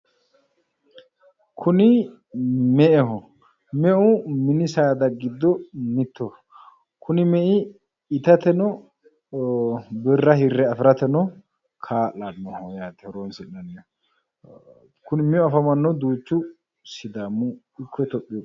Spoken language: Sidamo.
kuni me''eho meu mini saada giddo mittoho kuni mei itateno birra hirre afirateno kaa'lannoho yaate horonsinnaniho kuni meu afamannohu duuchu sidaamu ikko itiyopiyu giddo...